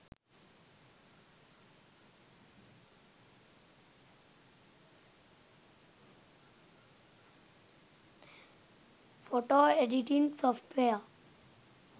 photo editing software